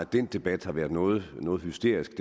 den debat har været noget hysterisk